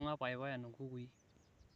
ibunga payapayan kukui